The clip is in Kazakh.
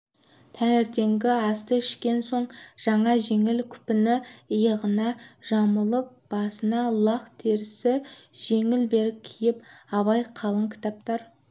таңертеңгі асты ішкен соң жаңа жеңіл күпіні иығына жамылып басына лақ терісі жеңіл берік киіп абай қалың кітаптар